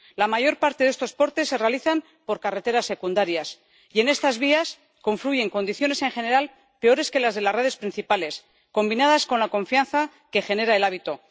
La mayor parte de estos portes se realizan por carreteras secundarias y en estas vías confluyen condiciones, en general, peores que las de las redes principales, combinadas con la confianza que genera el hábito.